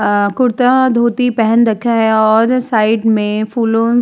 आ कुर्ता धोती पहन रखा है और साइड में फूलों --